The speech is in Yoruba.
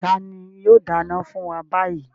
Tani yóò dáná fún wa báyìí?